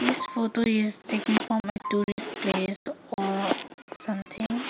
this photo is taken from a tourist place or something.